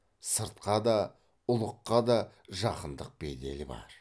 сыртқа да ұлыққа да жақындық бедел бар